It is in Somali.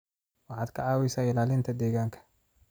Waxaad ka caawisaa ilaalinta deegaanka.